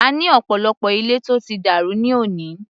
A ní ọ̀pọ̀lọpọ̀ ilé tó ti dàrú ní òní.